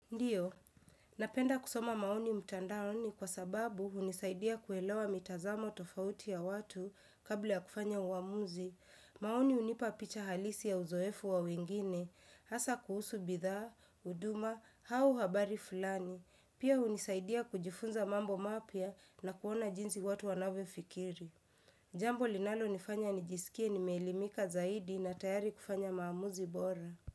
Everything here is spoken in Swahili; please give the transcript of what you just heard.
Ndiyo, napenda kusoma maoni mtandaoni kwa sababu unisaidia kuelewa mitazamo tofauti ya watu kabli ya kufanya uamuzi. Maoni unipa picha halisi ya uzoefu wa wengine, hasa kuhusu bitha, uduma, hau habari fulani. Pia unisaidia kujifunza mambo mapya na kuona jinzi watu wanave fikiri. Jambo linalonifanya nijisikie nimeelimika zaidi na tayari kufanya maamuzi bora.